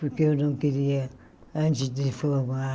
Porque eu não queria, antes de formar,